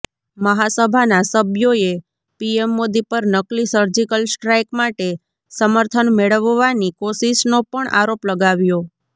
મહાસભાના સબ્યોએ પીએમ મોદી પર નકલી સર્જિકલ સ્ટ્રાઈક માટે સમર્થન મેળવવાની કોશિશનો પણ આરોપ લગાવ્યો